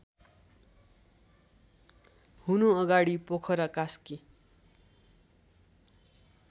हुनुअगाडि Pokhara Kaski